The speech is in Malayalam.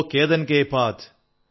ജോ കേതൻ കേ പാത്